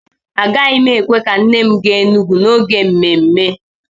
Agaghị m èkwè ka nne m gaa Enugwu n'oge mmemme